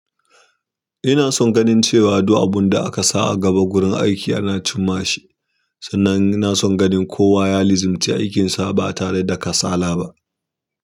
Ina son ganin cewa du abun da aka sa a gaba gurin aiki ana cimmashi, sannan ina son ganin kowa yalizimci aikinsa ba tare da kasala ba.